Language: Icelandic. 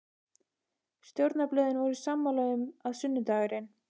Stjórnarblöðin voru sammála um, að sunnudagurinn